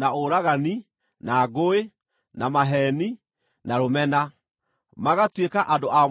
na ũragani, na ngũĩ, na maheeni, na rũmena. Magatuĩka andũ a mũhuhu,